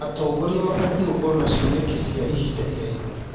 Atongoria mabatiĩ gũkorwo na cioneki cia ihinda iraihu.